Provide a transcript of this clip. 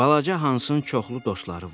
Balaca Hansın çoxlu dostları vardı.